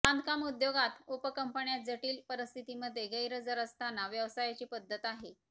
बांधकाम उद्योगात उपकंपन्या जटिल परिस्थितिंमध्ये गैरहजर असतांना व्यवसायाची पद्धत आहे